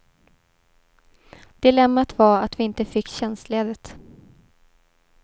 Dilemmat var att vi inte fick tjänstledigt.